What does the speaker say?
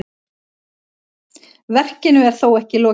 Verkinu er þó ekki lokið.